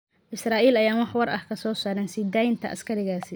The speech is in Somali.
Israa’iil ayaan wax war ah ka soo saarin sii deynta askarigaasi.